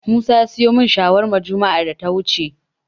Musa ya siyo min shawarma juma'ar da ta wuce.